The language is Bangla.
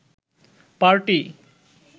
পার্টি